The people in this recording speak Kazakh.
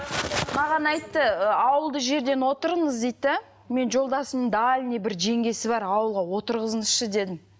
маған айтты ы ауылды жерден отырыңыз дейді де мен жолдасым дальный бір жеңгесі бар ауылға отырғызыңызшы дедім